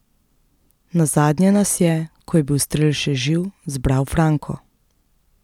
Nazadnje nas je, ko je bil Strel še živ, zbral Franko.